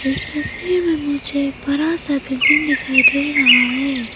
इस तस्वीर में मुझे एक बड़ा सा बील्डिंग दिखाई दे रहा है।